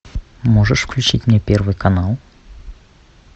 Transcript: можешь включить мне первый канал